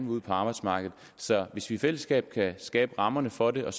ud på arbejdsmarkedet så hvis vi i fællesskab kan skabe rammerne for det og